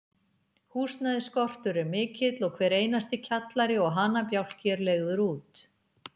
Húsnæðisskortur er mikill, og hver einasti kjallari og hanabjálki er leigður út.